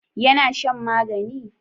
ya na shan magani?